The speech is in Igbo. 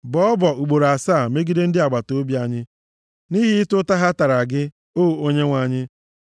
Bọọ ọbọ ugboro asaa megide ndị agbataobi anyị nʼihi ụta ha tara gị, O Onyenwe anyị.